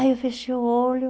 Aí eu fechei o olho...